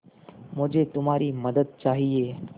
मुझे तुम्हारी मदद चाहिये